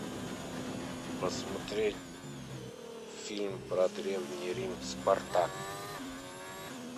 посмотреть фильм про древний рим спартак